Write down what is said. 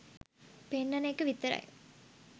පෙන්නන එක විතරයි